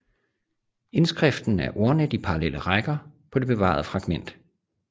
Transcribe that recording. Indskriften er ordnet i parallelle rækker på det bevarede fragment